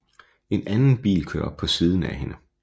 En anden bil kører op på siden af hende